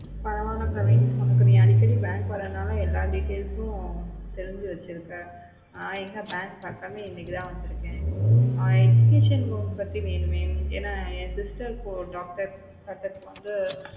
பரவலா kavin உனக்கு அடிக்கடி நீ bank வரதுனால எல்லாம் details தெரிஞ்சி வெச்சிருக்க ந எங்க bank பக்கமே இன்னிக்குத்தான் வந்துருக்கேன் ஆஹ் educational loan பத்தி வேணுமே என என் sister கு doctor